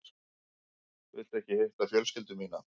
Viltu ekki hitta fjölskyldu mína?